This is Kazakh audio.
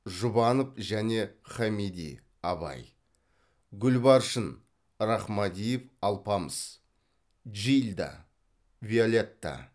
жұбанов және хамиди абай гүлбаршын рахмадиев алпамыс джильда виолетта